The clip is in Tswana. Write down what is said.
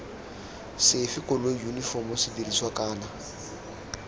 sefe koloi yunifomo sedirisiwa kana